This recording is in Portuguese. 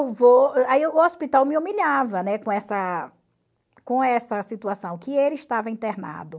Aí o hospital me humilhava, né, com essa com essa situação, que ele estava internado.